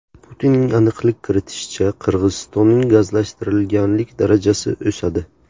Putinning aniqlik kiritishicha, Qirg‘izistonning gazlashtirilganlik darajasi o‘sadi.